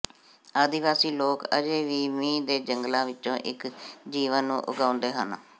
ਆਦਿਵਾਸੀ ਲੋਕ ਅਜੇ ਵੀ ਮੀਂਹ ਦੇ ਜੰਗਲਾਂ ਵਿਚੋਂ ਇਕ ਜੀਵਨ ਨੂੰ ਉਗਾਉਂਦੇ ਹਨ